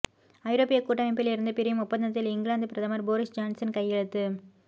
ஐரோப்பிய கூட்டமைப்பில் இருந்து பிரியும் ஒப்பந்தத்தில் இங்கிலாந்து பிரதமர் போரிஸ் ஜான்சன் கையெழுத்து